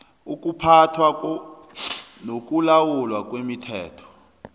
ukuphathwa nokulawulwa kwemithombo